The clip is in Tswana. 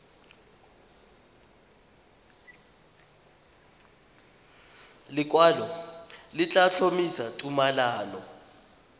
lekwalo le tla tlhomamisa tumalano